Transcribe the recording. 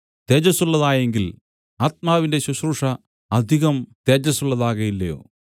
തേജസ്സുള്ളതായെങ്കിൽ ആത്മാവിന്റെ ശുശ്രൂഷ അധികം തേജസ്സുള്ളതാകയില്ലയോ